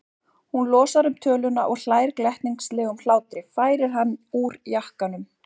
Hún losar um töluna og hlær glettnislegum hlátri, færir hann úr jakkanum.